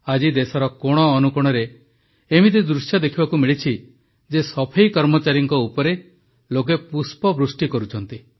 ଆଜି ଦେଶର କୋଣ ଅନୁକୋଣରେ ଏମିତି ଦୃଶ୍ୟ ଦେଖିବାକୁ ମିଳିଛି ଯେ ସଫେଇକର୍ମଚାରୀଙ୍କ ଉପରେ ଲୋକେ ପୁଷ୍ପବୃଷ୍ଟି କରୁଛନ୍ତି